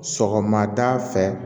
Sɔgɔmada fɛ